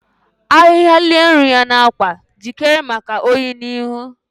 Ahịhịa lie nri ya n’akwa, jikere maka oyi oyi n’ihu.